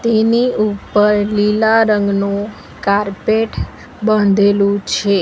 એની ઉપર લીલા રંગનું કારપેટ બાંધેલું છે.